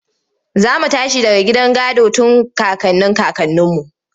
Za mu tashi daga gidan gado tun kakannin kakanninmu.